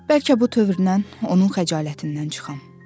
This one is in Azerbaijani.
Bəlkə bu tövrdən onun xəcalətindən çıxam.